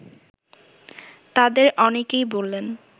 তাদের অনেকেই বললেন